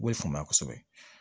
U b'o faamuya kosɛbɛ